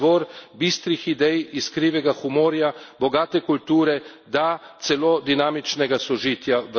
Bosna in Hercegovina, ki smo jo poznali, je bila izvor bistrih idej, iskrivega humorja, bogate kulture.